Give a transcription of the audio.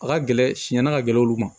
A ka gɛlɛn sɛnn'a ka gɛlɛn olu ma